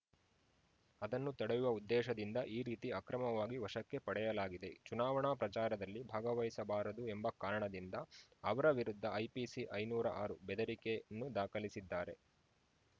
ಅದನ್ನು ತಡೆಯುವ ಉದ್ದೇಶದಿಂದ ಈ ರೀತಿ ಅಕ್ರಮವಾಗಿ ವಶಕ್ಕೆ ಪಡೆಯಲಾಗಿದೆ ಚುನಾವಣಾ ಪ್ರಚಾರದಲ್ಲಿ ಭಾಗವಹಿಸಬಾರದು ಎಂಬ ಕಾರಣದಿಂದ ಅವರ ವಿರುದ್ಧ ಐಪಿಸಿ ಐನೂರ ಆರು ಬೆದರಿಕೆನ್ನು ದಾಖಲಿಸಿದ್ದಾರೆ